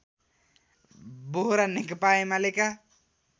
बोहरा नेकपा एमालेका